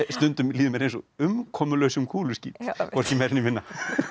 stundum líður mér eins og umkomulausum kúluskít hvorki meira né minna